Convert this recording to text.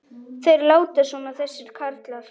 Þeir láta svona þessir karlar.